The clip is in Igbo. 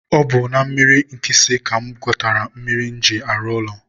ọ bụ na mmiri Nkịsị ka mụ gbatara mmiri m ji arụ ụlọ